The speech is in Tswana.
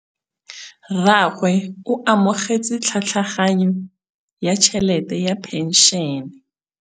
Rragwe o amogetse tlhatlhaganyô ya tšhelête ya phenšene.